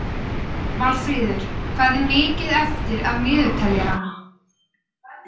Valfríður, hvað er mikið eftir af niðurteljaranum?